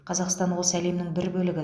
қазақстан осы әлемнің бір бөлігі